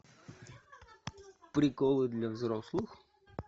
приколы для взрослых